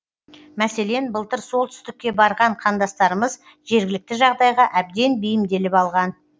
мәселен былтыр солтүстікке барған қандастарымыз жергілікті жағдайға әбден бейімделіп алған